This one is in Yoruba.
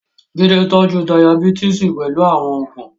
Jide tọ́jú Dayabítìsì pẹ̀lú àwọn oògùn.